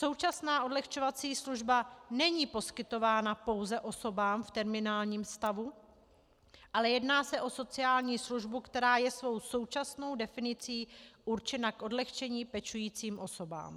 Současná odlehčovací služba není poskytována pouze osobám v terminálním stavu, ale jedná se o sociální službu, která je svou současnou definicí určena k odlehčení pečujícím osobám.